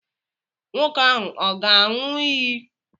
Nwoke ahụ ọ̀ ga-aṅụ iyi?